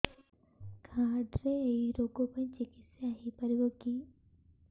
card ରେ ଏଇ ରୋଗ ପାଇଁ ଚିକିତ୍ସା ହେଇପାରିବ କି